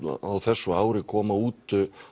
á þessu ári koma út